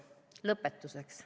Lõpetuseks.